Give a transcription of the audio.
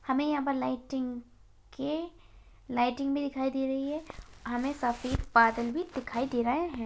हमें यहाँ पर लाइटिंग के लाइटिंग भी दिखाई दे रही है हमें यहां पे सफेद बादल भी दिखाई दे रहे हैं।